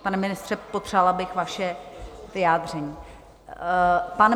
Pane ministře, potřebovala bych vaše vyjádření.